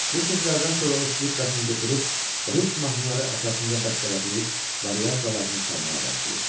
Bu sözlərdən sonra o skripkasını götürüb rus mahnıları əsasında bəstələdiyi variasiyalarını çalmağa başlayır.